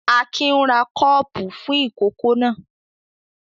Akin ń ra kọ́ọ́pù fún ìkókó náà.